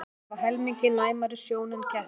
Hundar hafa helmingi næmari sjón en kettir.